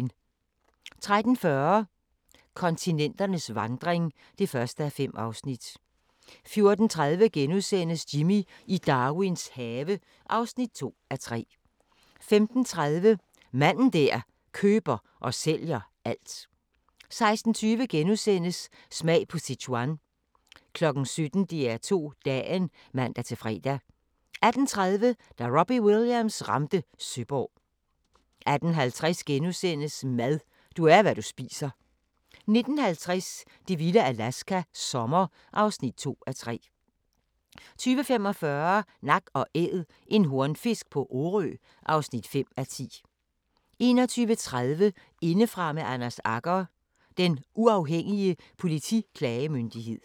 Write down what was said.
13:40: Kontinenternes vandring (1:5) 14:30: Jimmy i Darwins have (2:3)* 15:30: Manden der køber og sælger alt 16:20: Smag på Sichuan * 17:00: DR2 Dagen (man-fre) 18:30: Da Robbie Williams ramte Søborg 18:50: Mad – du er, hvad du spiser * 19:50: Det vilde Alaska – sommer (2:3) 20:45: Nak & Æd – en hornfisk på Orø (5:10) 21:30: Indefra med Anders Agger – Den Uafhængige Politiklagemyndighed